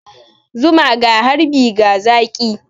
Zuma ga harbi ga zaki.